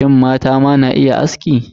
Shin, mata ma na iya aski?